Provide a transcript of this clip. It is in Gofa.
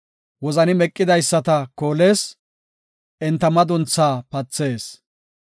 Wozani meqidaysata koolees; enta madunthaa pathees.